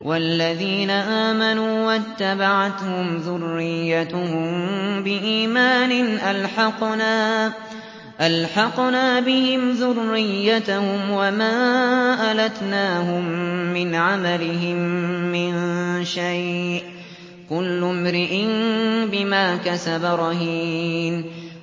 وَالَّذِينَ آمَنُوا وَاتَّبَعَتْهُمْ ذُرِّيَّتُهُم بِإِيمَانٍ أَلْحَقْنَا بِهِمْ ذُرِّيَّتَهُمْ وَمَا أَلَتْنَاهُم مِّنْ عَمَلِهِم مِّن شَيْءٍ ۚ كُلُّ امْرِئٍ بِمَا كَسَبَ رَهِينٌ